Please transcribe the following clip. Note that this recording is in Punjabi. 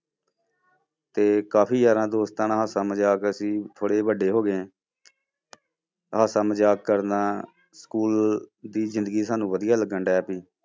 ਤੇ ਕਾਫ਼ੀ ਯਾਰਾਂ ਦੋਸਤਾਂ ਨਾਲ ਹਾਸਾ ਮਜ਼ਾਕ ਅਸੀਂ ਥੋੜ੍ਹੇ ਵੱਡੇ ਹੋ ਗਏ ਹਾਸਾ ਮਜ਼ਾਕ ਕਰਨਾ school ਦੀ ਜ਼ਿੰਦਗੀ ਸਾਨੂੰ ਵਧੀਆ ਲੱਗਣ ਪਈ।